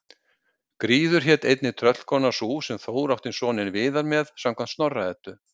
Gríður hét einnig tröllkona sú sem Þór átti soninn Viðar með samkvæmt Snorra-Eddu.